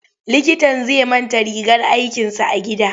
Likitan zai manta rigar aikinsa a gida.